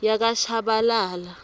yakashabalala